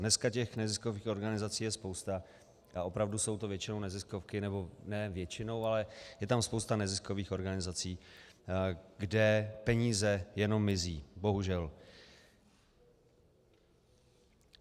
Dneska těch neziskových organizací je spousta a opravdu jsou to většinou neziskovky, nebo ne většinou, ale je tam spousta neziskových organizací, kde peníze jenom mizí. Bohužel.